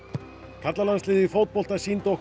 karlalandsliðið í fótbolta sýndi okkur